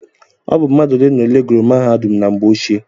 Ọ bụ mmadụ ole na ole gùrù mahadum na mgbe ochie.